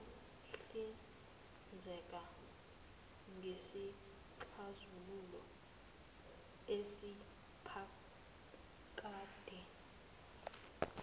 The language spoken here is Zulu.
siyohlinzeka ngesixazululo esiphakade